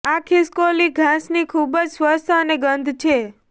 આ ખિસકોલી ઘાસની ખૂબ જ સ્વચ્છ અને ગંધ છે